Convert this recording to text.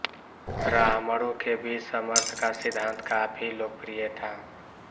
ब्राह्मणों के बीच समर्थ का सिद्धांत काफी लोकप्रिय था